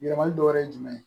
Yɛlɛmali dɔ wɛrɛ ye jumɛn ye